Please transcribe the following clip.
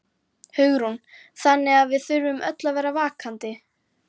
Hugrún: Þannig að við þurfum öll að vera vakandi?